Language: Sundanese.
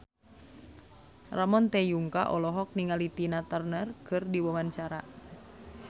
Ramon T. Yungka olohok ningali Tina Turner keur diwawancara